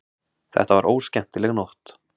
Þetta var óskemmtileg nótt.